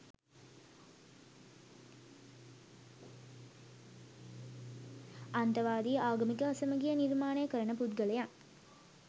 අන්තවාදී ආගමික අසමගිය නිර්මාණය කරන පුද්ගලයන්